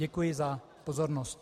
Děkuji za pozornost.